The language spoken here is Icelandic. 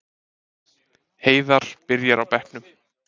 Heiðar byrjar á bekknum